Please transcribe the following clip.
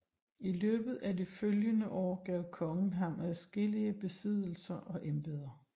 I løbet af de følgende år gav kongen ham adskillige besiddelser og embeder